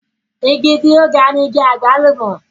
igi tí ó ga ni igi àgbálùmọ̀